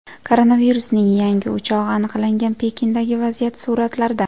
Koronavirusning yangi o‘chog‘i aniqlangan Pekindagi vaziyat suratlarda.